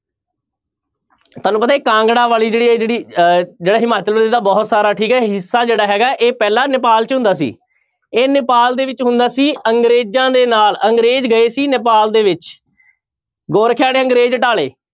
ਤੁਹਾਨੂ ਪਤਾ ਹੈ ਕਾਂਗੜਾ ਵਾਲੀ ਜਿਹੜੀ ਹੈ ਜਿਹੜੀ ਅਹ ਜਿਹੜਾ ਹਿਮਾਚਲ ਬਹੁਤ ਸਾਰਾ ਠੀਕ ਹੈ ਹਿੱਸਾ ਜਿਹੜਾ ਹੈਗਾ ਹੈ ਇਹ ਪਹਿਲਾਂ ਨੇਪਾਲ 'ਚ ਹੁੰਦਾ ਸੀ ਇਹ ਨੇਪਾਲ ਦੇ ਵਿੱਚ ਹੁੰਦਾ ਸੀ ਅੰਗਰੇਜ਼ਾਂ ਦੇ ਨਾਲ, ਅੰਗਰੇਜ਼ ਗਏ ਸੀ ਨੇਪਾਲ ਦੇ ਵਿੱਚ ਗੋਰਖਿਆਂ ਨੇ ਅੰਗਰੇਜ਼ ਢਾਹ ਲਏ।